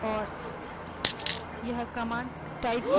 कौनto shell हम इस्तेमाल कर रहे हैं यह देखने के लिए